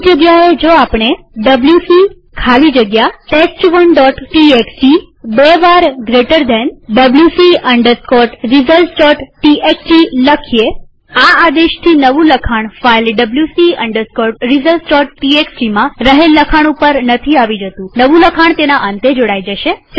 આની જગ્યાએ જો આપણે ડબ્લ્યુસી ખાલી જગ્યા test1ટીએક્સટી બે વાર જમણા ખૂણાવાળો કૌંસ wc resultstxt આ આદેશથી નવું લખાણ ફાઈલ wc resultstxtમાં રહેલ લખાણ ઉપર નથી આવી જતુંનવું લખાણ તેના અંતે જોડાઈ જાય છે